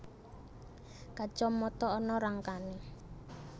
Kacamata ana rangkané